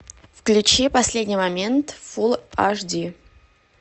включи последний момент фулл аш ди